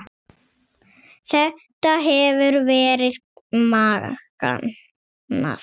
Þetta hefur verið magnað.